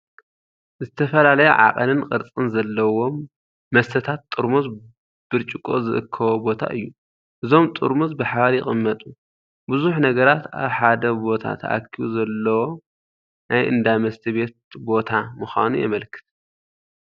ዝተፈላለየ ዓቐንን ቅርጽን ዘለዎም መስተታት ጥርሙዝ ብርጭቆ ዝእከቦ ቦታ እዩ። እዞም ጥርሙዝ ብሓባር ይቕመጡ። ብዙሕ ነገራት ኣብ ሓደ ቦታ ተኣኪቡ ዘለዎ ናይ እንዳ መስተ ቤት ቦታ ምዃኑ የመልክት።